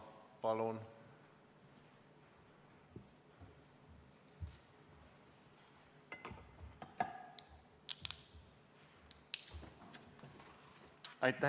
Palun!